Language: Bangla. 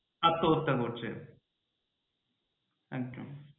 আত্ম্যহত্যা করছে একদম।